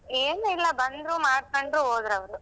ಏನೂಯಿಲ್ಲ, ಬಂದ್ರೂ ಮಾಡ್ಕೊಂಡ್ರು ಹೋದ್ರವರು.